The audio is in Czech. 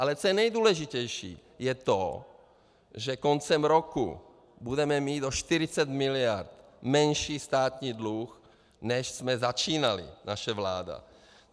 Ale co je nejdůležitější, je to, že koncem roku budeme mít o 40 mld. menší státní dluh, než jsme začínali, naše vláda.